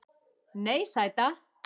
Nei, sæta.